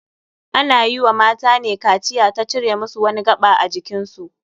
Ana yi wa matane kaciya ta cire musu wani gaɓa ajikin su.